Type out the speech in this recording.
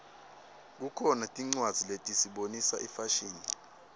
kukhona tincwadzi letisibonisa ifashini